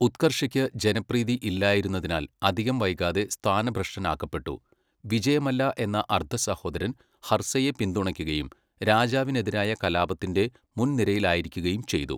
ഉത്കർഷയ്ക്ക് ജനപ്രീതി ഇല്ലായിരുന്നതിനാൽ അധികം വൈകാതെ സ്ഥാനഭ്രഷ്ടനാക്കപ്പെട്ടു, വിജയമല്ല എന്ന അർദ്ധസഹോദരൻ ഹർസയെ പിന്തുണയ്ക്കുകയും രാജാവിനെതിരായ കലാപത്തിൻ്റെ മുൻനിരയിലായിരിക്കുകയും ചെയ്തു.